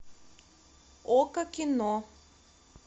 окко кино